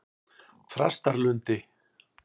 Þrastarlundi